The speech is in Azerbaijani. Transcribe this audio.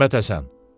Məmmədhəsən.